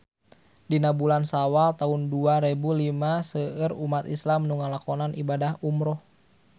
Dina bulan Sawal taun dua rebu lima seueur umat islam nu ngalakonan ibadah umrah